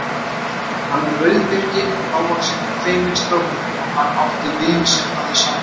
Hann var rauðbirkinn, lágvaxinn og feiminn strákur og hann átti vin sem hafði sambönd.